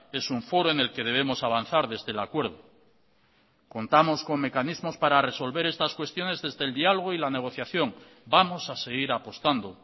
es un foro en el que debemos avanzar desde el acuerdo contamos con mecanismos para resolver estas cuestiones desde el diálogo y la negociación vamos a seguir apostando